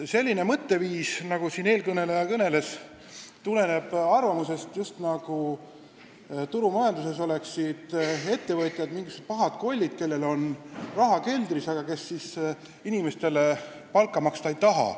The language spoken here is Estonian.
Selline mõtteviis, nagu siin eelkõneleja demonstreeris, tuleneb arvamusest, et turumajanduse korral on ettevõtjad mingisugused pahad kollid, kellel on raha keldris olemas, aga inimestele palka nad maksta ei taha.